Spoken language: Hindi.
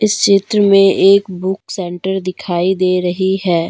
इस चित्र में एक बुक सेंटर दिखाई दे रही है।